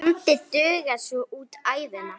Bandið dugar svo út ævina.